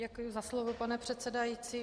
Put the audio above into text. Děkuji za slovo, pane předsedající.